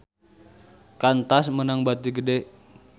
Qantas meunang bati gede